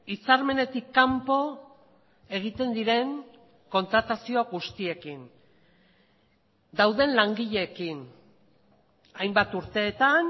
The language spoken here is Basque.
hitzarmenetik kanpo egiten diren kontratazio guztiekin dauden langileekin hainbat urteetan